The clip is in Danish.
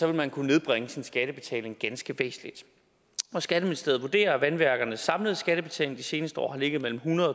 vil man kunne nedbringe sin skattebetaling ganske væsentligt skatteministeriet vurderer at vandværkernes samlede skattebetaling de seneste år har ligget mellem hundrede